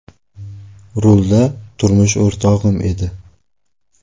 Rulda turmush o‘rtog‘im edi.